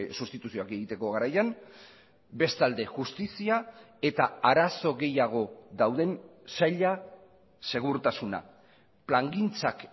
sustituzioak egiteko garaian bestalde justizia eta arazo gehiago dauden saila segurtasuna plangintzak